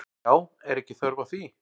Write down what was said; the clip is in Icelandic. Já, er ekki þörf á því?